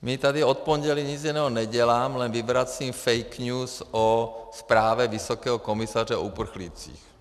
Já tady od pondělí nic jiného nedělám, jen vyvracím fake news o zprávě vysokého komisaře o uprchlících.